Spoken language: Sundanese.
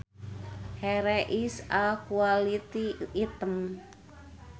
Here is a quality item